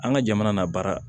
An ka jamana n'a baara